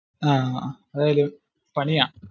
അഹ് അത് ഒരു പണിയാ